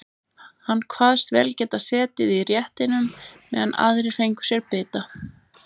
Hann kvaðst vel geta setið í réttinum meðan aðrir fengju sér bita.